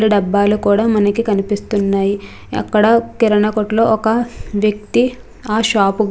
చిత్రంలో మనకి కూడా మనకి కనిపిస్తూనాయి .